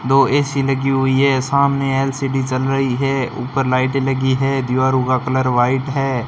दो ए_सी लगी हुई है सामने एल_सी_डी चल रही है ऊपर लाइटे लगी है दीवारों का कलर व्हाइट है।